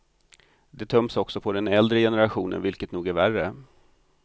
De töms också på den äldre generationen vilket nog är värre.